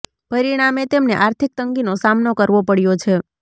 પરિણામે તેમને આર્થિક તંગીનો સામનો કરવો પડ્યો છે